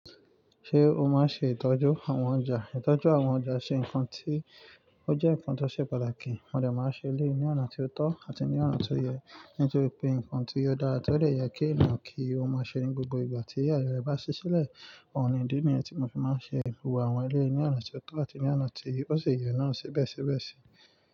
Ṣé o máa ń ṣe ìtọ́jú àwọn ọjà? Ìtọ́jú àwọn ọjà ṣe nǹkan tí ó jẹ́ nǹkan tó ṣe pàtàkì. Mo dè máa ṣe ilé ní ọ̀nà tí ó tọ́ àti ní ọ̀nà tí ó yẹ. Nítorí pé nǹkan tí ó dára tó lè yẹ kí ìnàkí ó máa ṣeré gbogbo ìgbà tí àye rè bá ṣí sílẹ̀. Òun nìdí ni ẹ́ tí mo fi máa ń ṣe ìhùwà àwọn ilé ní ọ̀nà tí ó tọ́ àti ní ọ̀nà tí ó ṣe yẹ náà síbẹ̀síbẹ̀sí.